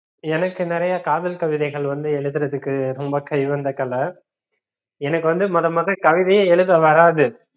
எனக்கு நிறைய காதல் கவிதைகள் வந்து எழுதுறதுக்கு ரொம்ப கைவந்தகலை எனக்கு வந்து மொத மொத கவிதையே எழுத வறாது.